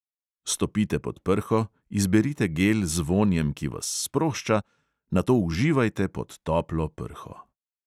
Stopite pod prho, izberite gel z vonjem, ki vas sprošča, nato uživajte pod toplo prho.